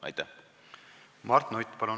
Mart Nutt, palun!